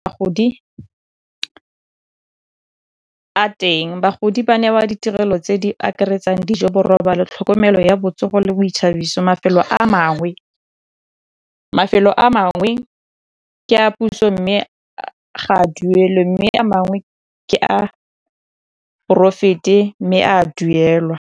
teng bagodi ba newa ditirelo tse di akaretsang dijo, borobalo, tlhokomelo ya botsogo le boithabiso. mafelo a mangwe ke a puso, mme ga a duelwe, mme a mangwe ke a poraefete mme a duelwa.